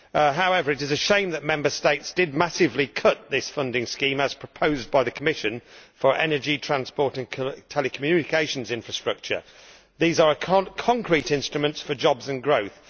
However, it is a shame that Member States massively cut this funding scheme, as proposed by the Commission, for energy, transport and telecommunications infrastructure, as these are concrete instruments for jobs and growth.